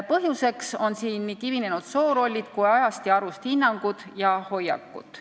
Põhjuseks on siin nii kivinenud soorollid kui ka ajast ja arust hinnangud ja hoiakud.